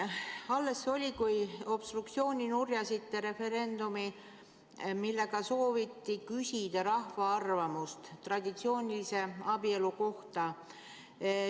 Alles see oli, kui te obstruktsiooniga nurjasite referendumi, millega sooviti küsida rahva arvamust traditsioonilise abielu kohta.